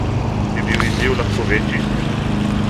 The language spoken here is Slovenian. Bi bil izziv lahko večji?